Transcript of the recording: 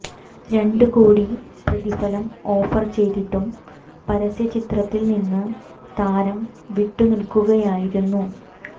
രണ്ട് കോടി പ്രതിഫലം ഓഫർ ചെയ്തിട്ടും പരസ്യ ചിത്രത്തിൽ നിന്ന് താരം വിട്ട് നിൽക്കുകയായിരുന്നു